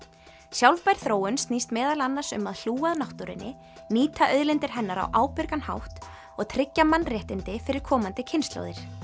sjálfbær þróun snýst meðal annars um að hlúa að náttúrunni nýta auðlindir hennar á ábyrgan hátt og tryggja mannréttindi fyrir komandi kynslóðir